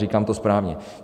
Říkám to správně.